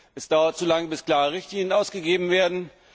Es dauert zu lange, bis klare Richtlinien ausgegeben werden.